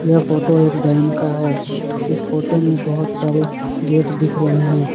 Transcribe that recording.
यह फोटो एक डैम का है इस फोटो में बहोत सारे गेट दिख रहे हैं।